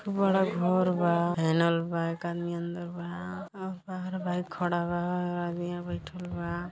बड़ा घर बा हैनल बा एक आदमी अंदर बा और बाहर बाइक खड़ा बा आदमिया बइठल बा।